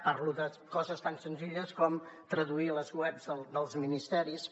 parlo de coses tan senzilles com traduir les webs dels ministeris